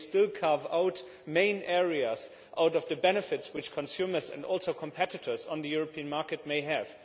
They still carve out main areas from the benefits which consumers and also competitors on the European market may have.